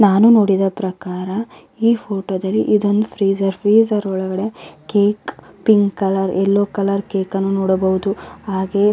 ನಾನು ನೋಡಿದ ಪ್ರಕಾರ ಈ ಫೋಟೋದಲ್ಲಿ ಇದೊಂದು ಫ್ರೀಜರ್ ಫ್ರೀಜರ್ ಒಳಗಡೆ cake pink colour yellow colour ಕೇಕನ್ನು ನೋಡಬಹುದು ಹಾಗೆ --